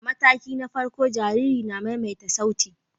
A mataki na farko, jarirai na maimaita sauti.